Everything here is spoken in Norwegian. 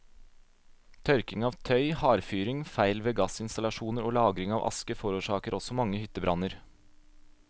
Tørking av tøy, hardfyring, feil ved gassinstallasjoner og lagring av aske forårsaker også mange hyttebranner.